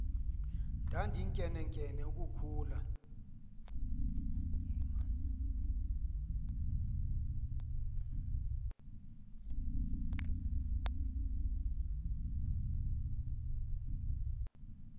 ndandinkenenkene uku khula